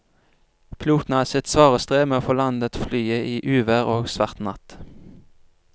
Piloten hadde sitt svare strev med å få landet flyet i uvær og svart natt.